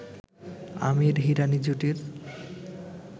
Aamir-Hirani জুটির